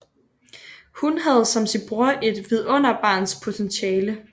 Hun havde som sin bror et vidunderbarns potentiale